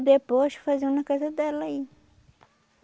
Depois faziam na casa dela aí.